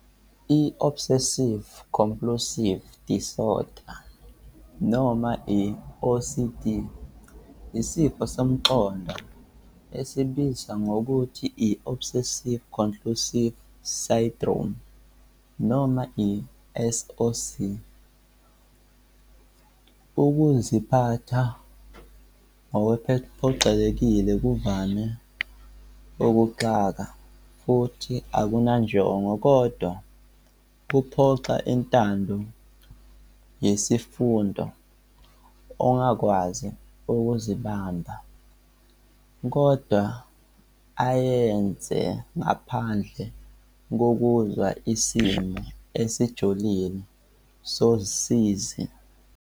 I-Obsessive-compulsive disorder noma i-OCD isifo sengqondo esibizwa nangokuthi i-obsessive-compulsive syndrome noma i-SOC. Ukuziphatha okuphoqelekile kuvame ukuxaka futhi akunanjongo kodwa kuphoqa intando yesifundo ongakwazi ukuzibamba kodwa ayenze ngaphandle kokuzwa isimo esijulile sosizi.